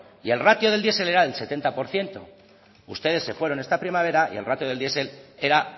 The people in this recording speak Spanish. y el ratio del diesel era del setenta por ciento ustedes se fueron esta primavera y el ratio del diesel era